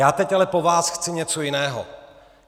Já teď ale po vás chci něco jiného.